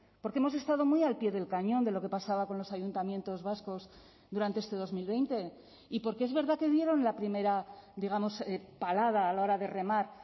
porque hemos estado muy al pie del cañón de lo que pasaba con los ayuntamientos vascos durante este dos mil veinte y porque es verdad que dieron la primera digamos palada a la hora de remar